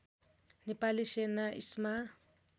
नेपाली सेना इस्मा